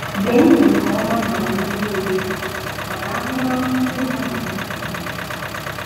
Gee ntị nke ọma ma nwee obi ebere maka ahụmahụ ndị mmadụ dị iche ichè